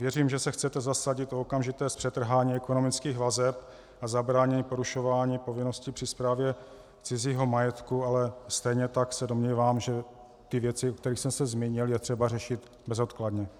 Věřím, že se chcete zasadit o okamžité zpřetrhání ekonomických vazeb a zabránění porušování povinností při správě cizího majetku, ale stejně tak se domnívám, že ty věci, o kterých jsem se zmínil, je třeba řešit bezodkladně.